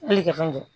Hali kɛ fɛn kɛ